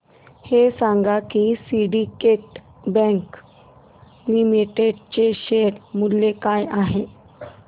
हे सांगा की सिंडीकेट बँक लिमिटेड चे शेअर मूल्य काय आहे